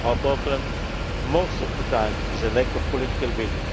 Our problem, most of the time, is a lack of political